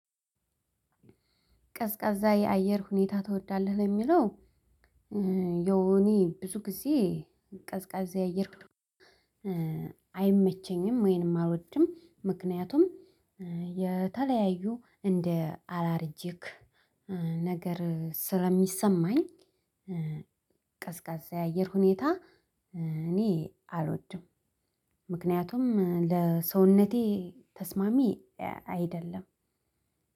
ቀዝቃዛ የአየር ሁኔታ ትወዳለህ ለሚለው? ያው እኔ ብዙ ጊዜ ቀዝቃዛ አየር አይመቸኝም ወይንም አልወድም ምክንያቱም የተለያዩ እንደ አላርጂክ ነገር ስለሚሰማኝ። ቀዝቃዛ የአየር ሁኔታ እኔ አልወድም። ምክንያቱም ለሰውነቴ ተስማሚ አይደለም።